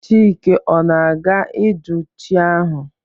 Chike ọ naga-ijụ chi ahụ?